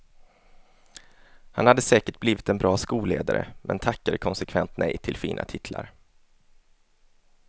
Han hade säkert blivit en bra skolledare, men tackade konsekvent nej till fina titlar.